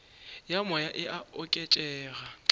ya moya e a oketšega